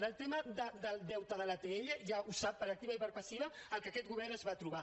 del tema del deute de l’atll ja ho sap per activa i per passiva el que aquest govern es va trobar